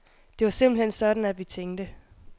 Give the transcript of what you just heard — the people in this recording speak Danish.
Det var simpelthen sådan, at vi tænkte.